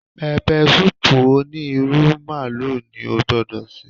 Pẹpẹsúùpù òní ìrù màlúù ni ó gbọ́dọ̀ sè